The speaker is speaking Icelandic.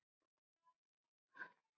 Helga: Fæst fjármagn í það?